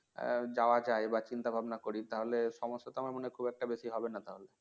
এর যাওয়া যায় বা চিন্তা-ভাবনা করি তাহলে সমস্যা তো আমার মনে খুব একটা বেশি হবে না তাহলে